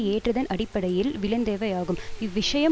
ஏற்றதன் அடிப்படையில் விளைந்தவையாகும் இவ்விஷயம்